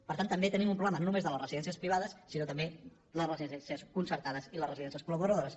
per tant també tenim un problema no només de les residències privades sinó també de les residències concertades i les residències col·laboradores